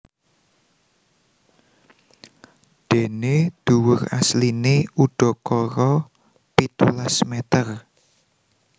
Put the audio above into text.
Déné dhuwur asliné udakara pitulas mèter